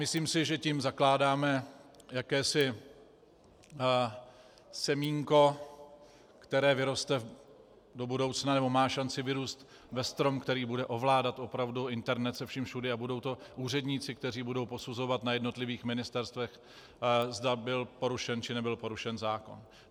Myslím si, že tím zakládáme jakési semínko, které vyroste do budoucna, nebo má šanci vyrůst ve strom, který bude ovládat opravdu internet se vším všudy, a budou to úředníci, kteří budou posuzovat na jednotlivých ministerstvech, zda byl porušen, či nebyl porušen zákon.